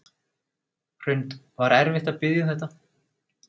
Hrund: Var erfitt að biðja um þetta?